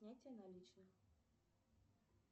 снятие наличных